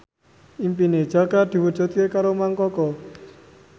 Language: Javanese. impine Jaka diwujudke karo Mang Koko